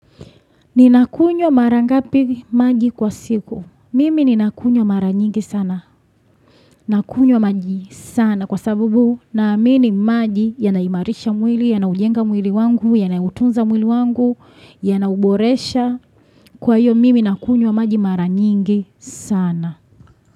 Ninakunywa mara ngapi maji kwa siku. Mimi ninakunywa mara nyingi sana. Nakunywa maji sana kwa sababu naamini maji yanaimarisha mwili, yanaujenga mwili wangu, yanautunza mwili wangu, yanauboresha. Kwa hiyo mimi nakunywa maji mara nyingi sana.